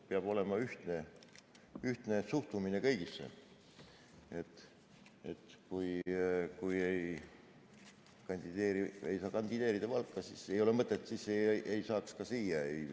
Peab olema ühtne suhtumine kõigisse, kui ei saa kandideerida Valgas, siis ei saaks kandideerida ka siia.